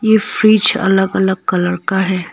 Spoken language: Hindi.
ये फ्रिज अलग अलग कलर का है।